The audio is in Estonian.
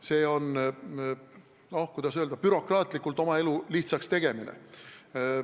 See on, kuidas öelda, bürokraatlikult oma elu lihtsaks tegemine.